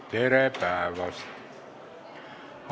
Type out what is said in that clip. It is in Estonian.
Austatud Riigikogu, tere päevast!